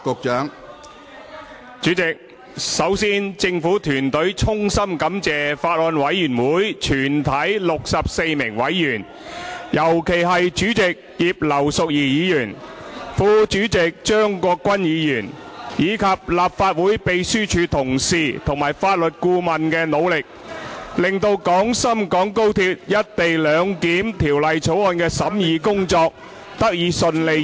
主席，首先政府團隊衷心感謝法案委員會全體64名委員，尤其是主席葉劉淑儀議員、副主席張國鈞議員，以及立法會秘書處同事及法律顧問作出的努力，令《廣深港高鐵條例草案》的審議工作，得以順利完成......